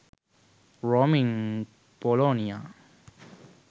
roaming polonia